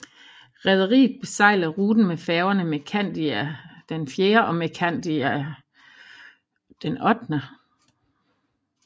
Rederiet besejler ruten med færgerne Mercandia IV og Mercandia VIII